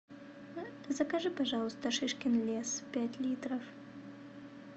закажи пожалуйста шишкин лес пять литров